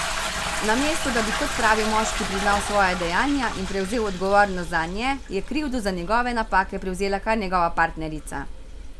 Namesto da bi kot pravi moški priznal svoja dejanja in prevzel odgovornost zanje, je krivdo za njegove napake prevzela kar njegova partnerica.